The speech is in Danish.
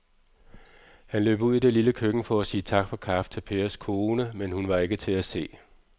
Han løb ud i det lille køkken for at sige tak for kaffe til Pers kone, men hun var ikke til at se.